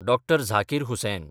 Dr. Zakir Hussain